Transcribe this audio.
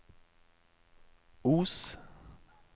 Os